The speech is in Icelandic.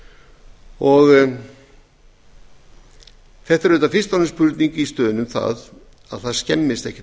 árum þetta er auðvitað fyrst og fremst spurning um að það skemmist ekkert